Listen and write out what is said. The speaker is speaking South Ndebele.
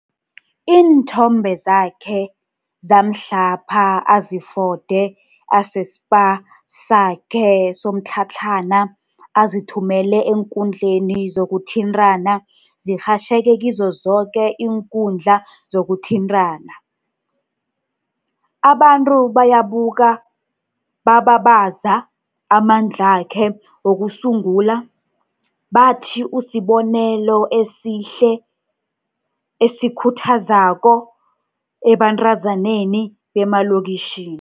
Iinthombe zakhe zamhlapha azifode aseSpa sakhe somtlhatlhana azithumele eenkundleni zokuthintana zirhatjheke kizo zoke iinkundla zokuthintana. Abantu bayabuka, bababaza amandlakhe wokusungula, bathi usibonelo esihle esisikhu thazo ebantazaneni bemalokitjhini.